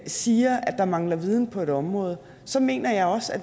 siger at der mangler viden på et område så mener jeg også at